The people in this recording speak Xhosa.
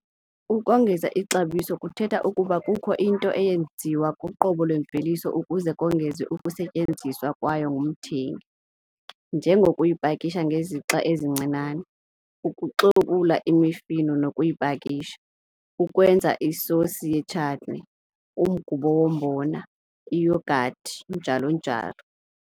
Ukongeza ixabiso kuthetha ukuba kukho into eyenziwa kuqobo lwemveliso ukuze kongezwe ukusetyenziswa kwayo ngumthengi, njengokuyipakisha ngezixa ezincinane, ukuxobula imifuno nokuyipakisha, ukwenza isosi ye-chutney, umgubo wombona, iyhogathi, njalo njalo.